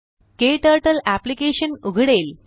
क्टर्टल application उघडेल